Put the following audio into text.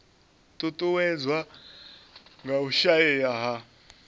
ṱuṱuwedzwa nga u shaea ha